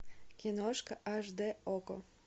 киношка аш дэ окко